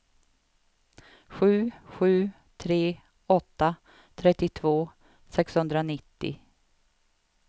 sju sju tre åtta trettiotvå sexhundranittio